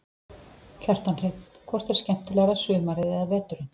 Kjartan Hreinn: Hvort er skemmtilegra sumarið eða veturinn?